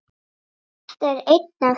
Þetta er ein af þess